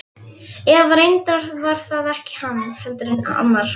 Eða reyndar var það ekki hann, heldur annar.